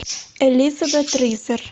элизабет ризер